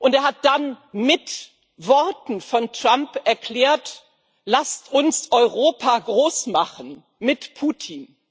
Er hat dann mit Worten von Trump erklärt Lasst uns Europa groß machen mit Putin.